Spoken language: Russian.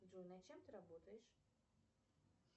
джой над чем ты работаешь